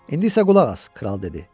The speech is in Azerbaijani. İndi isə qulaq as, kral dedi.